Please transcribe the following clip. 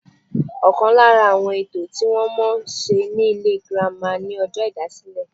Ọ̀kan lára àwọn ètò tí wọ́n máa ń ṣe ní ilé ìwé girama ni ọjọ́ ìdásílẹ̀